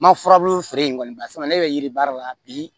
N ma furabulu feere in kɔni barisa ne bɛ yiri baara la bi